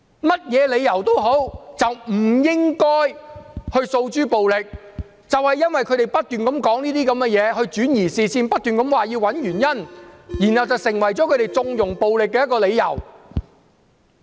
無論如何不應訴諸暴力，但他們不斷轉移視線，亦不斷要求找出發生暴力的原因，這便成為他們縱容暴力的理由。